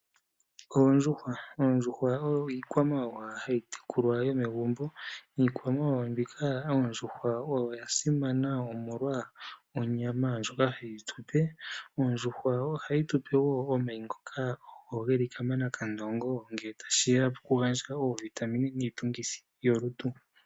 Oondjuhwa, oondjuhwa oyo iikwamawawa hayi tekulwa yomegumbo. Iikwamawawa mbika oondjuhwa oyo ya simana omolwa onyama ndjoka hayi tupe, ondjuhwa ohayi tupe wo omayi ngoka ogo geli kamanakandongo ngele ta shiya pokugandja oovitamine niitungithi yolutu.